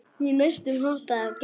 Ég næstum hoppaði af gleði.